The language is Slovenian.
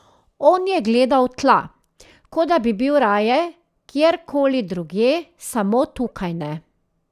On je gledal v tla, kot da bi bil raje kjer koli drugje, samo tukaj ne.